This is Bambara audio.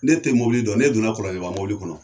N'e tɛ mɔbili dɔn, ne donna Kɔlɔnjɛba mɔbili kɔnɔ